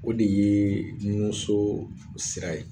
O de yee nun so sira ye